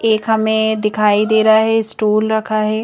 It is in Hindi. एक हमें दिखाई दे रहा है स्टूल रखा है।